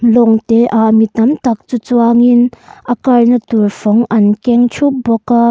lawng te ah mi tam tak chu chuangin a kar na tur fawng an keng thup bawk a.